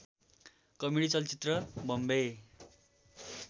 comedy चलचित्र बम्बे